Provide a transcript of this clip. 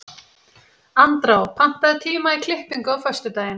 Andrá, pantaðu tíma í klippingu á föstudaginn.